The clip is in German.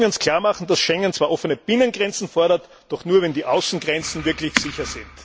Wir sollten uns klarmachen, dass Schengen zwar offene Binnengrenzen fordert, doch nur, wenn die Außengrenzen wirklich sicher sind.